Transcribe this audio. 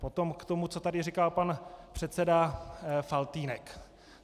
Potom k tomu, co tady říkal pan předseda Faltýnek.